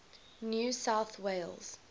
new south wales